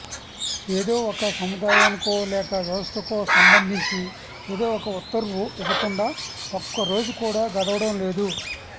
ఏదో ఒక సముదాయానికో లేక వ్యవస్థకో సంబంధించి ఏదో ఒక ఉత్తర్వు ఇవ్వకుండా ఒక్క రోజు కూడా గడవడం లేదు